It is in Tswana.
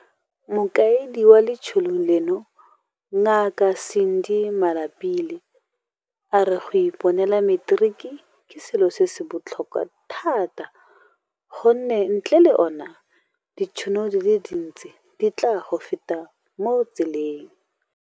Mokaedi wa letsholo leno, Ngaka Sandy Malapile, a re go iponela materiki ke selo se se botlhokwa thata gonne ntle le ona, ditšhono di le dintsi di tla go feta mo tseleng.